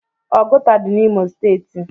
Ọgụta dị n'imo steeti.